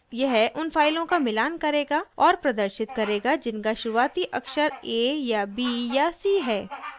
यह उन फाइलों का मिलान करेगा और प्रदर्शित करेगा जिनका शुरूआती अक्षर a या b या c है